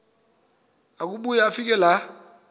akubuya afike laa